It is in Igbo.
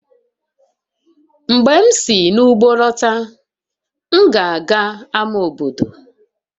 Mgbe m si n'ugbo lọta, m ga-aga ama obodo